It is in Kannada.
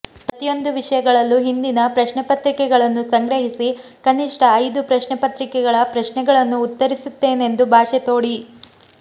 ಪ್ರತಿಯೊಂದು ವಿಷಯಗಳಲ್ಲೂ ಹಿಂದಿನ ಪ್ರಶ್ನೆಪತ್ರಿಕೆಗಳನ್ನು ಸಂಗ್ರಹಿಸಿ ಕನಿಷ್ಟ ಐದು ಪ್ರಶ್ನೆಪತ್ರಿಕೆಗಳ ಪ್ರಶ್ನೆಗಳನ್ನು ಉತ್ತರಿಸುತ್ತೇನೆಂದು ಭಾಷೆ ತೊಡಿ